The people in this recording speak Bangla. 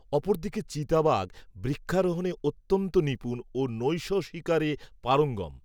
অপরদিকে চিতাবাঘ, বৃক্ষারোহণে, অত্যন্ত নিপুণ, ও নৈশশিকারে পারঙ্গম